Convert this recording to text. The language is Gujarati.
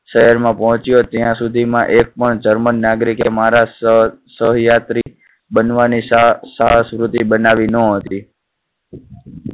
શહેરમાં પહોંચ્યો ત્યાં સુધી માં એકપણ જર્મન નાગરિક મહારાજ સ~સહ યાત્રી બનવા ની સાહ~સાહસવૃત્તિ બનાવી ન હતી.